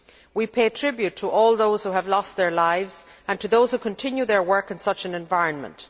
We pay tribute to all those who have lost their lives and to those who continue their work in such an environment.